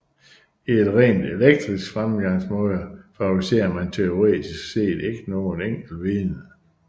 I en rent eklektisk fremgangsmåde favoriserer man teoretisk set ikke noget enkelt vidne